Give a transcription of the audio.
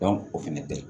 o fɛnɛ bɛ yen